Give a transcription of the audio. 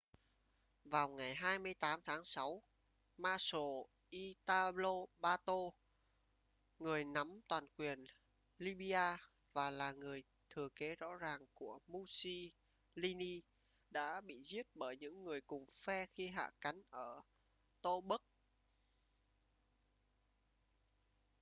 vào ngày 28 tháng sáu marshal italo balbo người nắm toàn quyền libya và là người thừa kế rõ ràng của mussolini đã bị giết bởi những người cùng phe khi hạ cánh ở tobruk